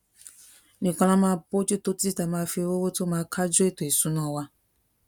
nìkan la máa bójú tó títí tá a fi máa rí owó to ma kaju eto isuna wa